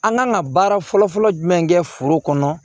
An kan ka baara fɔlɔ-fɔlɔ jumɛn kɛ foro kɔnɔ